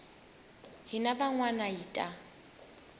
hina van wana hi ta